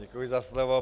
Děkuji za slovo.